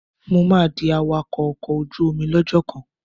Mo máa di awakọ́ ọkọ̀ ojú omi lọ́jọ́ kan.